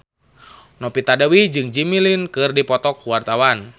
Novita Dewi jeung Jimmy Lin keur dipoto ku wartawan